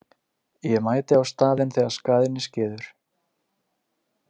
Ég mæti á staðinn þegar skaðinn er skeður.